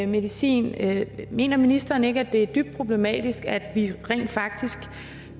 medicin mener ministeren ikke at det er dybt problematisk at vi rent faktisk